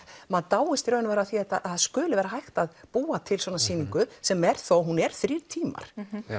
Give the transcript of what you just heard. maður dáist að því að það skuli vera hægt að búa til svona sýningu sem er þó hún er þrír tímar